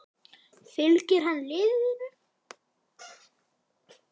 Fylgir hann liðinu?